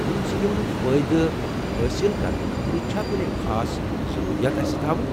یمن سکیمن ہُنٛد فٲئدٕ حٲصل کرنہٕ خٲطرٕ چھا کُنہِ خاص ضرورِیات اسہِ تھاوٕنۍ؟